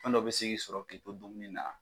Fɛn dɔ bi se k'i sɔrɔ k'i to dumuni na.